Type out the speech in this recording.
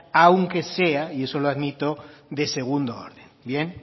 aunque sea y eso lo admito de segundo orden bien